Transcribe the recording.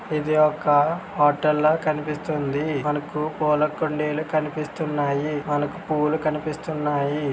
ఇది ఒక హొటెల్ లా కనిపిస్తుంది. మనకు పూలకుండీలు కనిపిస్తున్నాయి మనకు పూలు కనిపిస్తున్నాయి.